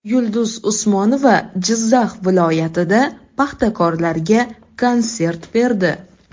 Yulduz Usmonova Jizzax viloyatida paxtakorlarga konsert berdi.